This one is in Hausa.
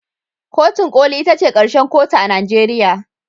Kotun koli ita ce karshen kotu a Najeriya